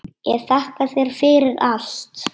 Ég þakka þér fyrir allt.